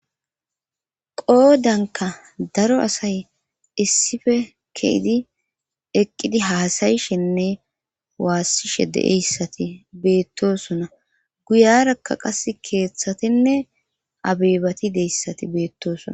qoodanka daro asay issife ke'idi eqqidi haasayishenne waassishe de'eyassati beettosona guyarakka qas keeththatinne abeebati deyissati beettosona